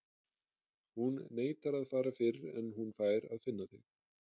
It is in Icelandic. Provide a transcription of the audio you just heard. Hún neitar að fara fyrr en hún fær að finna þig.